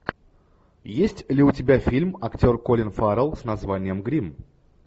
есть ли у тебя фильм актер колин фаррелл с названием гримм